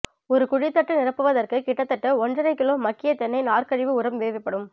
ஒரு குழித்தட்டுநிரப்புவதற்கு கிட்டத்தட்ட ஒண்றரைக்கிலோ மக்கிய தென்னை நார்க்கழிவு உரம் தேவைப்படும்